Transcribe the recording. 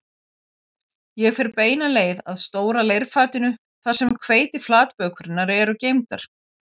Ég fer beina leið að stóra leirfatinu þar sem hveitiflatbökurnar eru geymdar